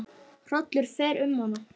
Hrollur fer um hana.